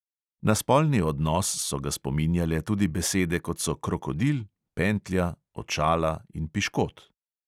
Na spolni odnos so ga spominjale tudi besede, kot so krokodil, pentlja, očala in piškot.